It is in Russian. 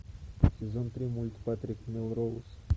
сезон три мульт патрик мелроуз